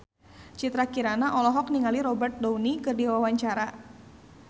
Citra Kirana olohok ningali Robert Downey keur diwawancara